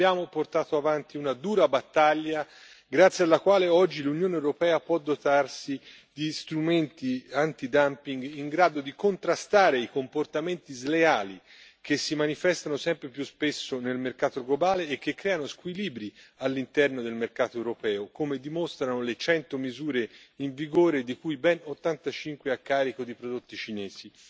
Abbiamo portato avanti una dura battaglia, grazie alla quale oggi l'Unione europea può dotarsi di strumenti antidumping in grado di contrastare i comportamenti sleali che si manifestano sempre più spesso nel mercato globale e che creano squilibri all'interno del mercato europeo, come dimostrano le 100 misure in vigore, di cui ben 85 a carico di prodotti cinesi.